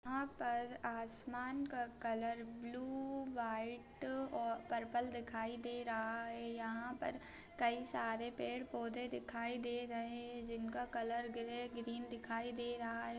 यहां पर आसमान का कलर ब्लू व्हाइट ओ पर्पल दिखाई दे रहा है यहां पर कई सारे पेड़-पौधे दिखाई दे रहे है जिनका कलर ग्रे ग्रीन दिखाई दे रहा है।